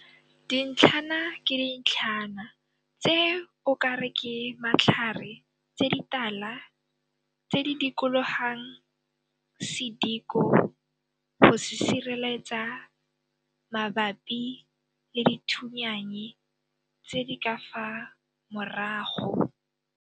Dintlhana ke dintlhana tse o ka re ke matlhare tse ditala tse di dikologang sediko go se sireletsa mabapi le dithunyannye tse di ka fa maorago.